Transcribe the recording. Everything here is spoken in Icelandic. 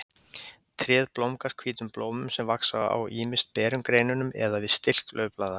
Tréð blómgast hvítum blómum sem vaxa ýmist á berum greinunum eða við stilk laufblaða.